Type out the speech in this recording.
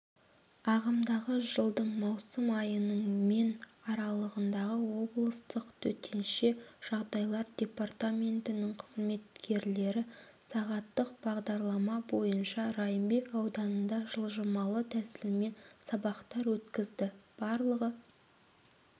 ағымдағы жылдың маусым айының мен аралығында облыстық төтенше жағдайлар департаментінің қызметкерлері сағаттық бағдарлама бойынша райымбек ауданында жылжымалы тәсілмен сабақтар өткізді барлығы